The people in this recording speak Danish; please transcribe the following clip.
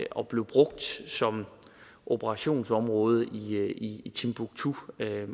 og blev brugt som operationsområde i timbuktu det er jo